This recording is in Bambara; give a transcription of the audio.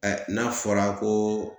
Ɛ n'a fɔra ko